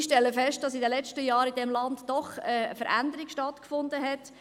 Ich stelle fest, dass in diesem Land in den letzten Jahren doch eine Veränderung stattgefunden hat.